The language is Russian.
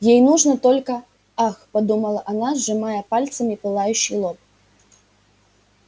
ей нужно только ах подумала она сжимая пальцами пылающий лоб